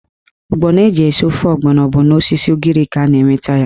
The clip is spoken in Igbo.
Ọgbọnọ eji esi ofe ọgbọnọ bụ n'osisi ugiri ka a na-enweta ya.